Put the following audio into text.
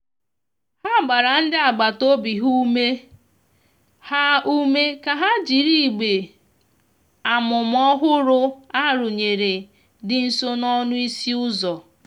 ha gbara ndi agbata obi ha ume ha ume ka ha jịrị igbe amụma ọhụrụ a rụnyere di nso n'ọnụ ịsị uzọ.